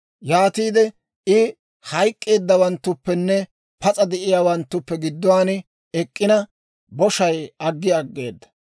Yaatiide I hayk'k'eeddawanttuppenne pas'a de'iyaawanttuppe gidduwaan ek'k'ina, boshay aggi aggeeda.